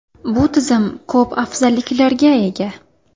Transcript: Bu tizim ko‘p afzalliklarga ega.